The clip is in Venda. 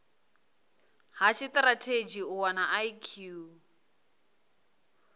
ha tshitirathedzhi u wana ip